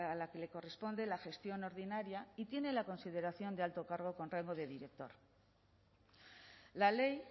la que le corresponde la gestión ordinaria y tiene la consideración de alto cargo con rango de director la ley